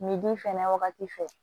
Ni di fɛnɛ wagati fɛ